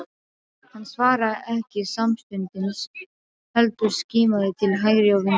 Hann svaraði ekki samstundis heldur skimaði til hægri og vinstri.